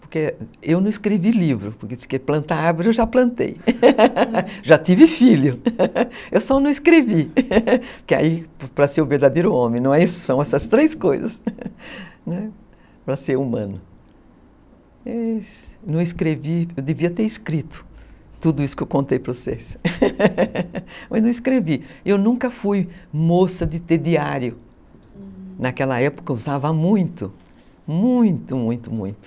Porque eu não escrevi livro, porque plantar árvore eu já plantei. Já tive filho, eu só não escrevi, que aí, para ser o verdadeiro homem, né, são essas três coisas. Para ser humano, mas, não escrevi, eu devia ter escrito tudo isso que eu contei para vocês, mas não escrevi. Eu nunca fui moça de ter diário, uhum, naquela época eu usava muito muito, muito, muito.